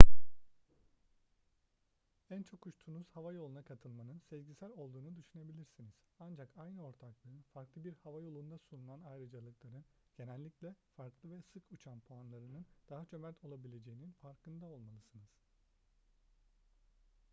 en çok uçtuğunuz hava yoluna katılmanın sezgisel olduğunu düşünebilirsiniz ancak aynı ortaklığın farklı bir havayolunda sunulan ayrıcalıkların genellikle farklı ve sık uçan puanlarının daha cömert olabileceğinin farkında olmalısınız